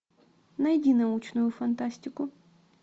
найди научную фантастику